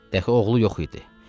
Dəxi oğlu yox idi.